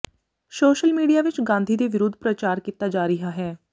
social media ਵਿਚ ਗਾਂਧੀ ਦੇ ਵਿਰੁੱਧ ਪ੍ਰਚਾਰ ਕੀਤਾ ਜਾ ਰਿਹਾ ਹੈ